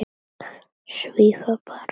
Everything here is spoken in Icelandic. Svífa bara.